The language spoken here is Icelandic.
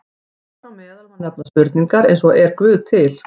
Þar á meðal má nefna spurningar eins og Er Guð til?